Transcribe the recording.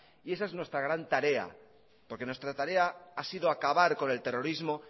y esa es nuestra gran tarea porque nuestra tarea ha sido acabar con el terrorismo